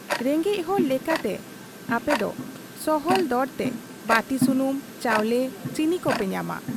ᱨᱮᱸᱜᱮᱡ ᱦᱚᱲ ᱞᱮᱠᱟᱛᱮ ᱟᱯᱮᱫᱚ ᱥᱚᱦᱚᱞ ᱫᱚᱨᱛᱮ ᱵᱟᱹᱛᱤ ᱥᱩᱱᱩᱢ, ᱪᱟᱣᱞᱮ, ᱪᱤᱱᱤ ᱠᱚᱯᱮ ᱧᱟᱢᱟ ᱾